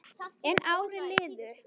En árin liðu.